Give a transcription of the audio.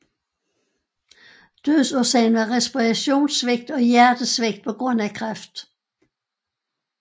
Dødsårsagen var respirationssvigt og hjertesvigt på grund af kræft